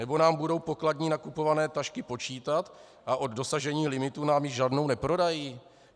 Nebo nám budou pokladní nakupované tašky počítat a od dosažení limitu nám již žádnou neprodají?